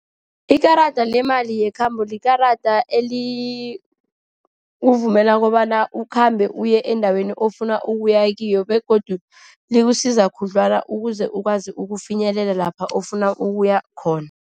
Ikarada lemali yekhambo likarada elikuvumela kobana ukhambe uye endaweni ofuna ukuya kiyo. Begodu likusiza khudlwana ukuze ukwazi ukufinyelela lapho ofuna ukuya khona.